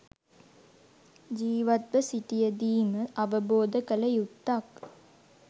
ජිවත්ව සිටියදීම අවබෝධ කල යුත්තක්.